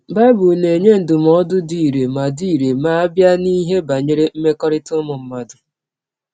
Bible na - enye ndụmọdụ dị irè ma dị irè ma a bịa n’ihe banyere mmekọrịta ụmụ mmadụ.